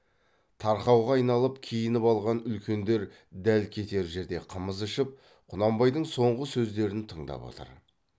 тарқауға айналып киініп алған үлкендер дәл кетер жерде қымыз ішіп құнанбайдың соңғы сөздерін тыңдап отыр